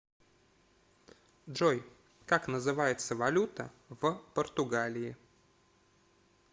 джой как называется валюта в португалии